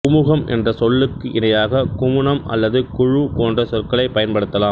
குமுகம் என்ற சொல்லுக்கு இணையாக குமுனம் அல்லது குழு போன்ற சொற்களைப் பயன்படுத்தலாம்